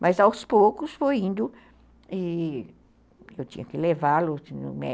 Mas, aos poucos, foi indo e eu tinha que levá-lo.